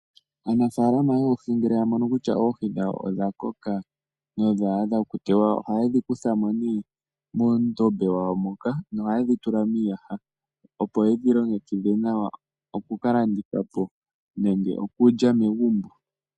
Aanafalama yoohi ngele yamono kutya oohii dhawo odhakoka nodha adha okutewa oha yedhikuthamo ne moondombe dhawo moka noha yedhitula miiyaha opo yedhilongekidhe nawa oku kalandithapo nenge okulya megumbo.